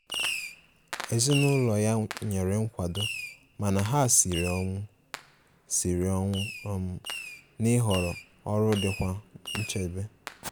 Ezinụlọ ya nyere nkwado mana ha siri ọnwụ siri ọnwụ um na-ịhọrọ ọrụ dikwa nchebe.